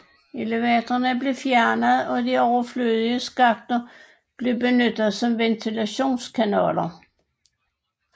Elevatorerne blev fjernet og de overflødige skakter blev benyttet som ventilationskanaler